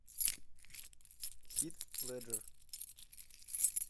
хит леджер